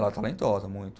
Ela é talentosa, muito.